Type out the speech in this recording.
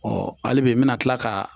hali bi n bɛna tila ka